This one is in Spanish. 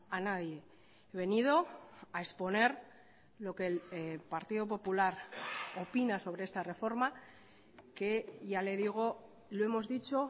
a nadie he venido a exponer lo que el partido popular opina sobre esta reforma que ya le digo lo hemos dicho